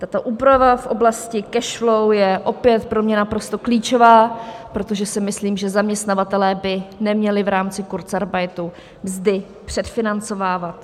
Tato úprava v oblasti cash-flow je opět pro mě naprosto klíčová, protože si myslím, že zaměstnavatelé by neměli v rámci kurzarbeitu mzdy předfinancovávat.